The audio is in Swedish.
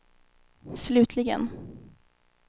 slutligen